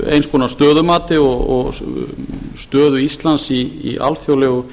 eins konar stöðumati og stöðu ísland í alþjóðlegu